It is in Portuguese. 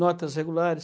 Notas regulares,